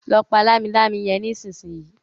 lọ pá Lámilámi yén nísìsiyìí!